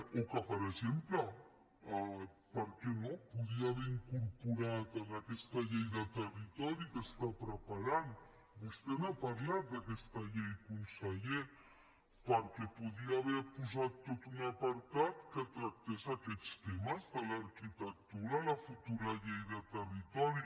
o que per exemple per què no podia haver incorporat en aquesta llei de territori que està preparant vostè n’ha parlat d’aquesta llei conseller perquè podia haver posat tot un apartat que tractés aquests temes de l’arquitectura a la futura llei de territori